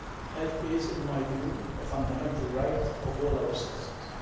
Health is, in my view, a fundamental right of all our citizens.